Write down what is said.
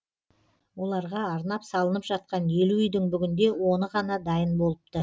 оларға арнап салынып жатқан елу үйдің бүгінде оны ғана дайын болыпты